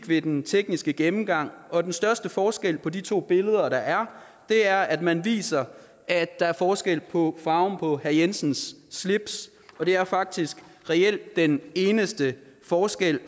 ved den tekniske gennemgang og den største forskel på de to billeder der er er at man viser at der er forskel på farven på herre jensens slips og det er faktisk reelt den eneste forskel